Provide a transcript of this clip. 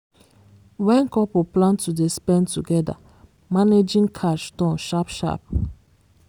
when couple plan to dey spend together managing cash turn sharp sharp.